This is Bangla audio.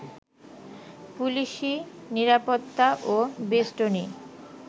পুলিশি নিরাপত্তা ও বেস্টনী